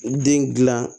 Den gilan